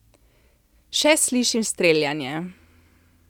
Še slišim streljanje.